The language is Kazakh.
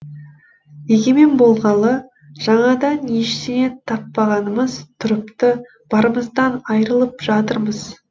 егемен болғалы жаңадан ештеңе таппағанымыз тұрыпты барымыздан айырылып жатырмыз